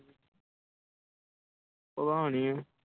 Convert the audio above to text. ਪਤਾ ਨੀ